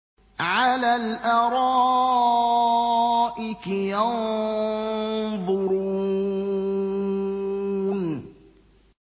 عَلَى الْأَرَائِكِ يَنظُرُونَ